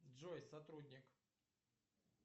джой сотрудник